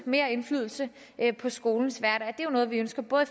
mere indflydelse på skolens hverdag det er noget vi ønsker både